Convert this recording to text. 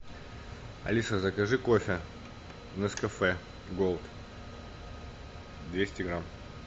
алиса закажи кофе нескафе голд двести грамм